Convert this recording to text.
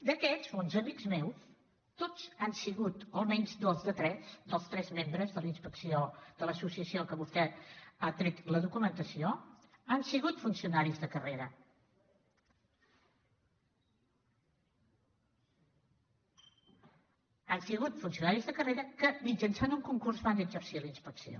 d’aquests bons amics meus tots han sigut o almenys dos de tres dels tres membres de la inspecció de l’associació de què vostè ha tret la documentació han sigut funcionaris de carrera han sigut funcionaris de carrera que mitjançant un concurs van exercir la inspecció